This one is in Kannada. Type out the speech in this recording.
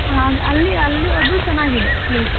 ಆ ಅಲ್ಲಿ ಅಲ್ಲು ಅದು ಚೆನ್ನಾಗಿದೆ, place .